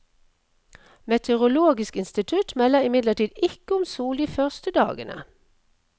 Meteorologisk institutt melder imidlertid ikke om sol de første dagene.